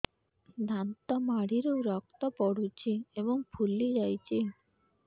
ଦାନ୍ତ ମାଢ଼ିରୁ ରକ୍ତ ପଡୁଛୁ ଏବଂ ଫୁଲି ଯାଇଛି